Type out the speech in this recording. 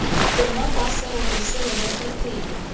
gongwe kwa serori se robegetseng